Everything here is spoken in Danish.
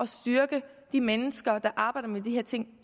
styrke de mennesker der arbejder med de her ting